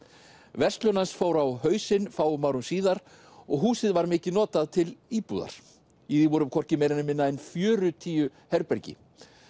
verslun hans fór á hausinn fáum árum síðar og húsið var mikið notað til íbúðar í því voru hvorki meira né minna en fjörutíu herbergi